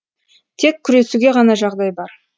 тек күресуге ғана жағдай бар